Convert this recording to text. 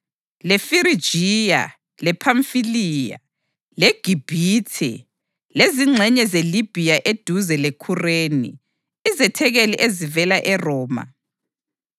leFirigiya lePhamfiliya, leGibhithe lezingxenye zeLibhiya eduze leKhureni; izethekeli ezivela eRoma